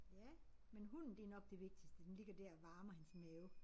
Ja men hunden det nok det vigtigste. Den ligger dér og varmer hans mave